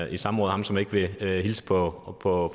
i samråd ham som ikke vil hilse på på